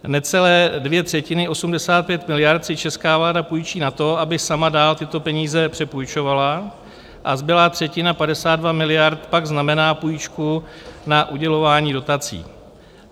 Necelé dvě třetiny, 85 miliard, si česká vláda půjčí na to, aby sama dál tyto peníze přepůjčovala, a zbylá třetina, 52 miliard, pak znamená půjčku na udělování dotací.